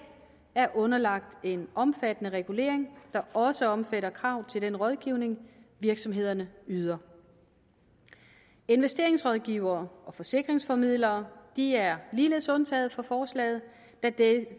er underlagt en omfattende regulering der også omfatter krav til den rådgivning virksomhederne yder investeringsrådgivere og forsikringsformidlere er ligeledes undtaget fra forslaget